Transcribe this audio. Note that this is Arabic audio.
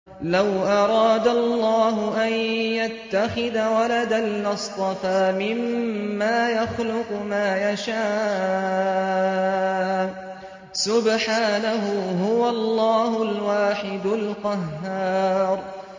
لَّوْ أَرَادَ اللَّهُ أَن يَتَّخِذَ وَلَدًا لَّاصْطَفَىٰ مِمَّا يَخْلُقُ مَا يَشَاءُ ۚ سُبْحَانَهُ ۖ هُوَ اللَّهُ الْوَاحِدُ الْقَهَّارُ